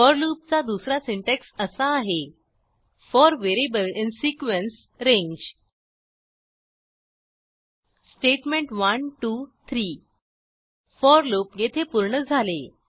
four लूपचा दुसरा syntax असा आहे फोर व्हेरिएबल इन sequenceरांगे स्टेटमेंट 1 2 3 फोर लूप येथे पूर्ण झाले